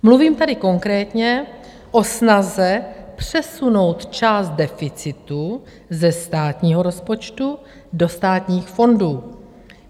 Mluvím tady konkrétně o snaze přesunout část deficitu ze státního rozpočtu do státních fondů.